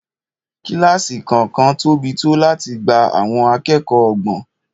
Kílásì kọ̀ọ̀kan tóbi tó láti gba àwọn akẹ́kọ̀ọ́ ọgbọ̀n